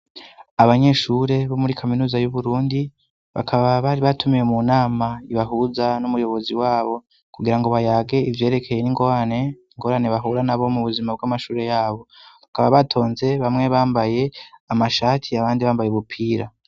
Abanyeshure bo muri kaminuza y'Uburundi, bakaba bari batumiwe mu nama ibahuza n'umuyobozi wabo, kugira ngo bayage ivyerekeye n'ingorane bahura nabo mu buzima bw'amashure yabo, bakaba batonze bamwe bambaye amashati abandi bambaye ubupira.